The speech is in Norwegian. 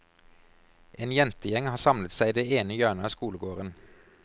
En jentegjeng har samlet seg i det ene hjørnet av skolegården.